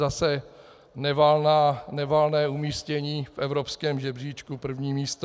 Zase nevalné umístění v evropském žebříčku - první místo.